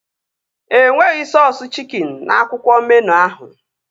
E nweghị sọọsu chikin n'akwụkwọ meenụ ahụ